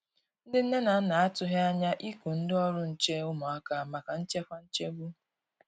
Ndi nne na nna a tụghi anya iku ndi ọrụ nche ụmụaka maka nchekwa nchegbu.